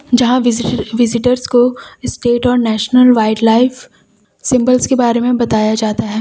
जहां visitor visitors को state और नेशनल वाइल्डलाइफ सिंबल्स के बारे में बताया जाता है।